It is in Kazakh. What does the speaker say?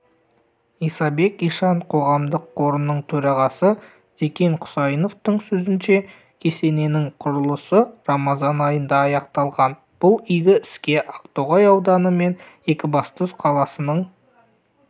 исабек ишан қоғамдық қорының төрағасы зекен құсайыновтың сөзінше кесененің құрылысы рамазан айында аяқталған бұл игі іске ақтоғай ауданы мен екібастұз қаласының